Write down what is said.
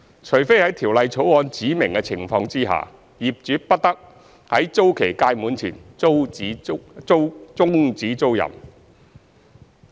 除非在《條例草案》指明的情況下，業主不得在租期屆滿前終止租賃。